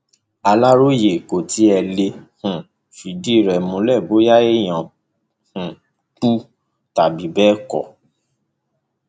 aláròye kò tí ì lè um fìdí rẹ múlẹ bóyá èèyàn um kú tàbí bẹẹ kọ